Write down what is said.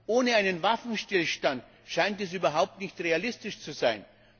Ohne einen Waffenstillstand scheint es überhaupt nicht realistisch zu sein.